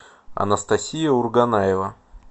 анастасия урганаева